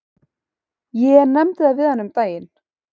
Ég nefndi það við hana um daginn.